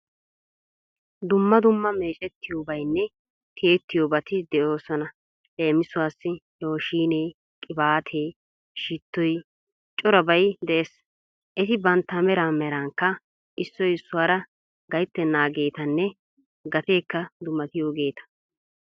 Dumma dumma meecettiyobayinne tiyettiyobati de'oosona. Leemisuwawu looshinee, qibaatee shittoy, corabay de'ees. Eti bantta meran merankka issoy issuwara gayttennaageetanne gateekka dummatiyogeeta.